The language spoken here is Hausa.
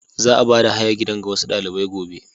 Za a bada hayar gidan ga wasu dalibai gobe.